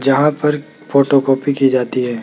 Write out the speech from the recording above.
जहां पर फोटोकॉपी की जाती है।